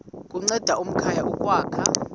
kunceda amakhaya ukwakha